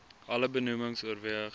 alle benoemings oorweeg